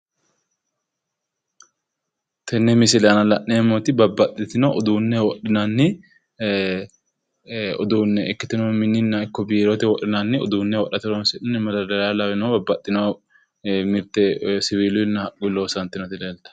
Tenne misile aana la'neemmoti babbaxxitino uduunne wodhinanni uduunne ikkitino mininna ikko biirote wodhinanni uduunne wodhate horoonsi'nanni madardariya lawino babbaxxino mirte woyi siwiiluyi loonsoyeeti leelta.